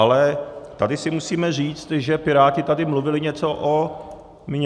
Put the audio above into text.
Ale tady si musíme říct, že Piráti tady mluvili něco o mně.